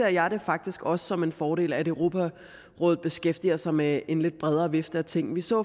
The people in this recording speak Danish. jeg det faktisk også som en fordel at europarådet beskæftiger sig med en lidt bredere vifte af ting vi så